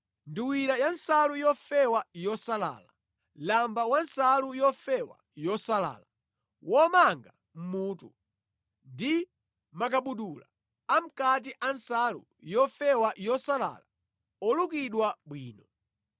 nduwira ya nsalu yofewa yosalala, lamba wa nsalu yofewa yosalala, womanga mʼmutu, ndi makabudula amʼkati a nsalu yofewa yosalala olukidwa bwino.